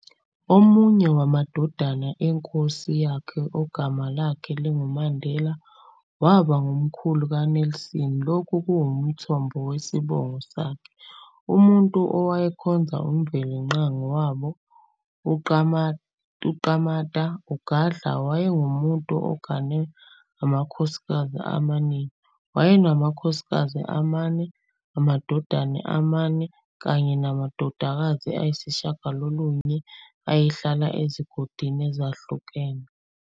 Omunye wamadodana enkosi yakhe, ogama lakhe linguMandela, waba ngumkhulu kaNelson lokhu okuwumthombo wesibongo sakhe. Umuntu owayekhonza umvelingqangi wabo uQamata, UGadla wayengumuntu ogane amakhosikazi amaningi, wayenamakhosikazi amane, amadodana amane kanye namadodakazi ayisishagalolunye, ayehlala ezigodini ezehlukene.